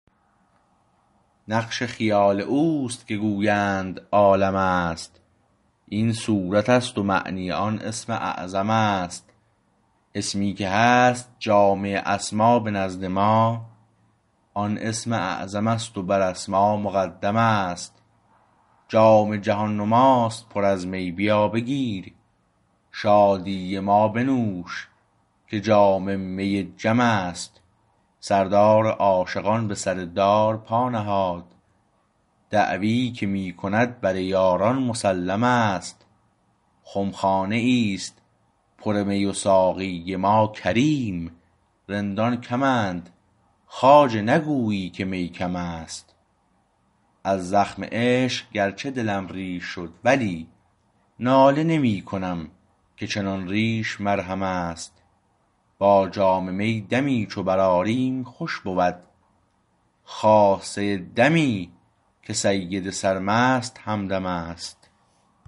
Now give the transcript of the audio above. نقش خیال اوست که گویند عالم است این صورتست و معنی آن اسم اعظم است اسمی که هست جامع اسما به نزد ما آن اسم اعظمست و بر اسما مقدمست جام جهان نماست پر از می بیابگیر شادی ما بنوش که جام می جم است سردار عاشقان به سر دار پا نهاد دعوی که می کند بر یاران مسلم است خمخانه ایست پر می و ساقی ما کریم رندان کم اند خواجه نگویی که می کم است از زخم عشق گرچه دلم ریش شد ولی ناله نمی کنم که چنان ریش مرهم است با جام می دمی چو بر آریم خوش بود خاصه دمی که سید سرمست همدمست